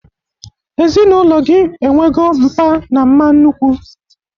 Ezinaụlọ gị enwego mpa na mma nnukwu!